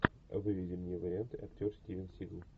выведи мне варианты актер стивен сигал